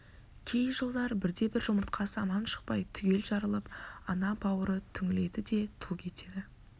кей жылдар бірде-бір жұмыртқасы аман шықпай түгел жарылып ана бауыры түңіледі де тұл кетеді